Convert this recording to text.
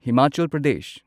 Himachal Pradesh